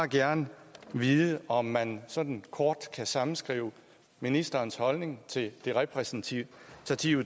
gerne vide om man sådan kort kan sammenskrive ministerens holdning til det repræsentative